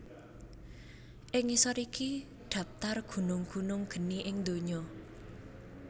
Ing ngisor iki dhaptar gunung gunung geni ing donya